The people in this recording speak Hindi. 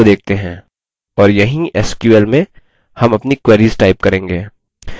और यहीं sql में हम अपनी queries type करेंगे